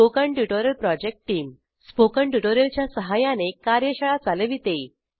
spoken tutorial project team spoken tutorial च्या सहाय्याने कार्यशाळा चालविते